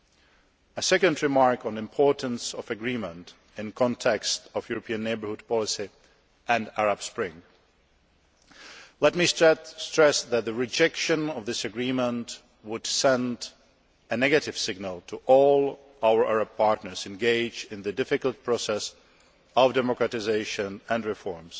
Now a second remark on the importance of agreement in the context of the European Neighbourhood Policy and the Arab Spring let me stress that the rejection of this agreement would send a negative signal to all our Arab partners engaged in the difficult process of democratisation and reform,